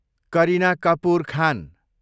Kareena Kapoor Khan